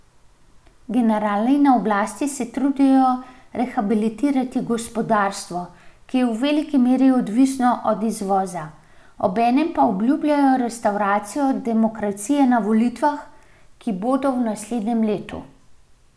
Generali na oblasti se trudijo rehabilitirati gospodarstvo, ki je v veliki meri odvisno od izvoza, obenem pa obljubljajo restavracijo demokracije na volitvah, ki bodo v naslednjem letu.